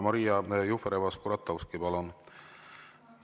Maria Jufereva‑Skuratovski, palun!